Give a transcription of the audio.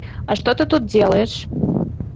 а что ты тут делаешь